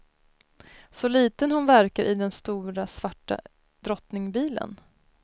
Så liten hon verkar i den stora svarta drottningbilen.